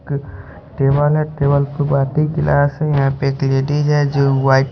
एक टेबल है टेबल पे बाती ग्लास है यहां पे एक लेडिस है जो व्हाइट --